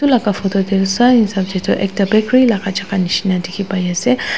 edu laka photo tae tu swahisap tae tu ekta bakery laka jaka nishina dikhipaiase.